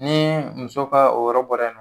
Ni muso ka o yɔrɔ bɔra yen nɔ